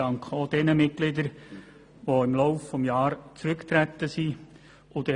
Ich danke auch jenen Kommissionsmitgliedern, die im Laufe des Jahres zurückgetreten sind.